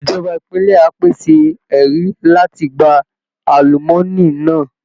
Ìjọba ìpínlẹ̀ á pèsè ẹ̀rí láti gba àlùmọ́ọ́nì náà